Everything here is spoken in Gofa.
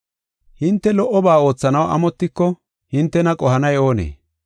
Hinte lo77oba oothanaw amotiko hintena qohanay oonee?